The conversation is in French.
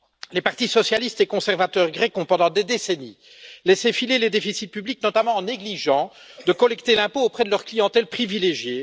Les partis socialistes et conservateurs grecs ont, pendant des décennies, laissé filer les déficits publics, notamment en négligeant de collecter l'impôt auprès de leur clientèle privilégiée.